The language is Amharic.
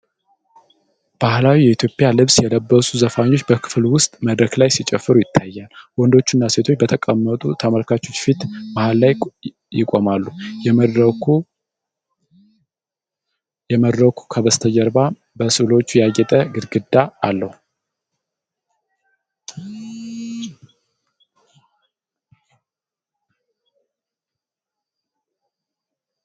ባህላዊ የኢትዮጵያ ልብስ የለበሱ ዘፋኞች በክፍል ውስጥ መድረክ ላይ ሲጨፍሩ ይታያል። ወንዶቹና ሴቶቹ በተቀመጡ ተመልካቾች ፊት መሃል ላይ ይቆማሉ። የመድረኩ ከበስተጀርባ በሥዕሎች ያጌጠ ግድግዳ አለው፡፡